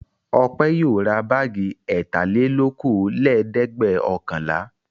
Ọpẹ́ yóò ra báágì ẹ̀tàlelókòólẹ́ẹ̀dẹ́gbẹ̀ọ̀kànlá.